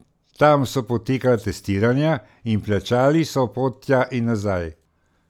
Tam so potekala testiranja in plačali so pot tja in nazaj.